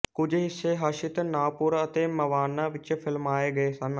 ਕੁਝ ਹਿੱਸੇ ਹਸਤਿ ਨਾਪੁਰ ਅਤੇ ਮਵਾਨਾ ਵਿੱਚ ਫ਼ਿਲਮਾਏ ਗਏ ਸਨ